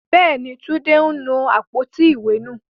Bẹ́ẹ̀ni, Túndé nu àpótí ìwé nù.